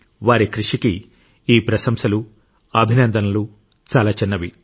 వారి కృషికి ఈ ప్రశంసలు అభినందనలు చాలా చిన్నవి